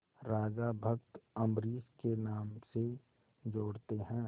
राजा भक्त अम्बरीश के नाम से जोड़ते हैं